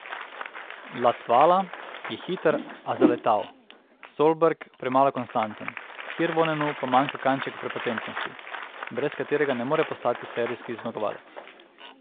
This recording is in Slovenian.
Latvala je hiter, a zaletav, Solberg premalo konstanten, Hirvonenu pa manjka kanček prepotentnosti, brez katerega ne more postati serijski zmagovalec.